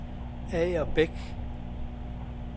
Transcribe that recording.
Agerbæk